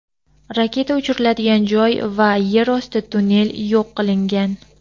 raketa uchiriladigan joy va yer osti tunnel yo‘q qilingan.